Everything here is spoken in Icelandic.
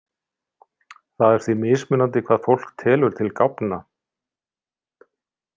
Það er því mismunandi hvað fólk telur til gáfna.